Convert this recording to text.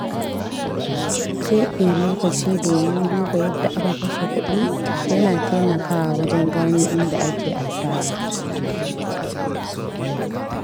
keɓe lokaci domin duba yadda aka kashe kuɗi yana taimakawa wajen gano inda ake asara.